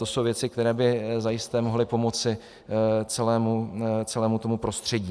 To jsou věci, které by zajisté mohly pomoci celému tomu prostředí.